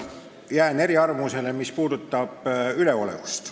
Jään eriarvamusele, mis puudutab üleolevust.